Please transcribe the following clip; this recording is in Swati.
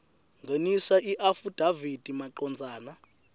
ngenisa iafidavithi macondzana